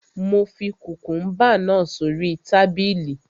Mo fi kùkùúmbà náà sórí tábìlì